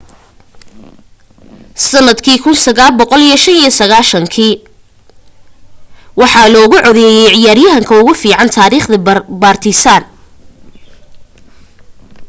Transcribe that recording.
sandkii 1995 waxaa loogu codeeyay ciyaryahanka ugu fican taarikhda partizan